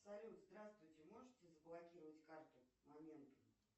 салют здравствуйте можете заблокировать карту моментум